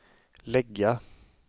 lägga